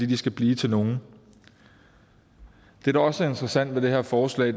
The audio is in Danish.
de skal blive til nogen det der også er interessant med det her forslag